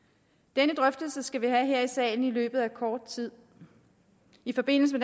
denne drøftelse skal vi have her i salen i løbet af kort tid i forbindelse